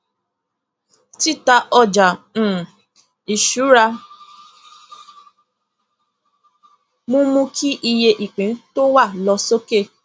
tita ọjà um ìṣúra mú mú kí iye ìpín tó wà lọ sókè